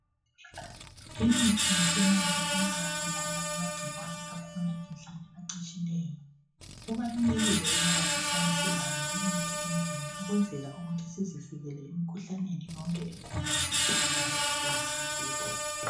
Imithi yesimanje iyawabulala amagcikwane akhona endlini acatshileyo kubalulekile ukuba sihlale silayo limithi endlini ukwenzela ukuthi sizivikele emikhuhlaneni yonke ekhona esihlala layo ezindlini zethu.